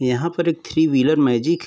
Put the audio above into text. यहाँ पर एक थ्री व्हीलर मैंजिक --